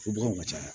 Fobagaw ka caya